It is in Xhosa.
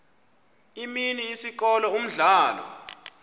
imini isikolo umdlalo